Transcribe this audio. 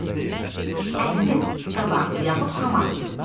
C. əlinin qabarlı yaxud hamar olduğu.